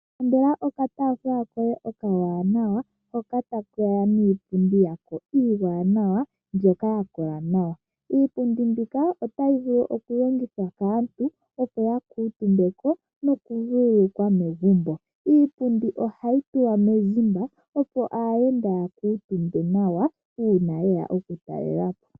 Ilandela okataafula koye okawanawa, hoka take ya niipundi yako iiwanawa mbyoka ya kola nawa. Iipundi mbika otayi vulu okulongithwa kaantu, opo ya kuutumbe ko nokuvululukwa megumbo. Iipundi ohayi tulwa mezimba, opo aayenda ya kuutumbe ko uuna ye ya okutalela po.